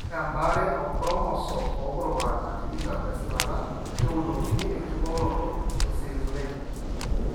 Ore embaare oonchromosome oopurupurana tikitam tesipata keunokini enkibooroto ooseizureni